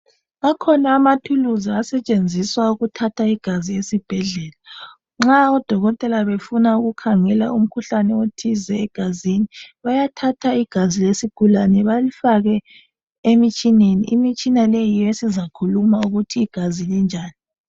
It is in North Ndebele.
Akhona amathuluzi asetshenziswa ukuthatha igazi esibhedlela nxa odokotela befuna ukukhangela umkhuhlane othize egazini bayathatha igazi lesigulane balifake emitshineni, imitshina leyi yiyo esizakhuluma ukuthi igazi linjani.